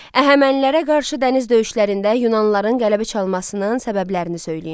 Əhəmənilərə qarşı dəniz döyüşlərində Yunanlıların qələbə çalmasının səbəblərini söyləyin.